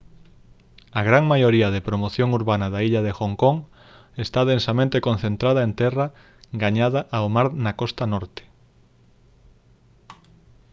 a gran maioría da promoción urbana da illa de hong kong está densamente concentrada en terra gañada ao mar na costa norte